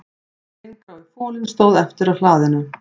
Steingrái folinn stóð eftir á hlaðinu